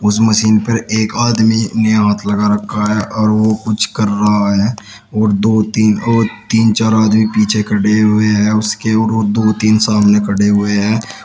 उस मशीन पर एक आदमी ने हाथ लगा रखा है और वो कुछ कर रहा है और दो तीन और तीन चार आदमी पीछे खड़े हुए हैं उसके और दो तीन सामने खड़े हुए हैं।